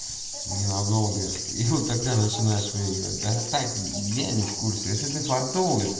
ненадолго и вот тогда начинаешь выиграть да так я не в курсе если ты фартовый